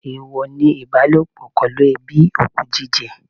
Èèwọ ni ìbálòpọ̀ pẹ̀lú ẹbí, òkú jíjẹ.